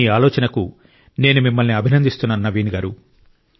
మీ ఆలోచనకు నేను మిమ్మల్ని అభినందిస్తున్నాను నవీన్ గారూ